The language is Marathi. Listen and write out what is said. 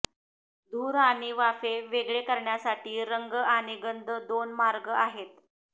धूर आणि वाफे वेगळे करण्यासाठी रंग आणि गंध दोन मार्ग आहेत